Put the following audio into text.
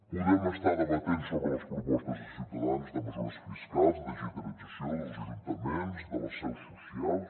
podem estar debatent sobre les propostes de ciutadans de mesures fiscals de digitalització dels ajuntaments de les seus socials